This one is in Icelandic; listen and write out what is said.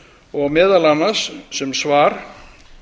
og meðal annars sem svar